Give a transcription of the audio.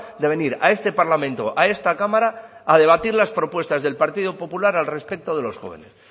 de venir a este parlamento a esta cámara a debatir las propuestas del partido popular al respecto de los jóvenes